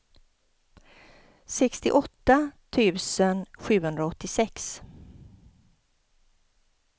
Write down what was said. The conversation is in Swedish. sextioåtta tusen sjuhundraåttiosex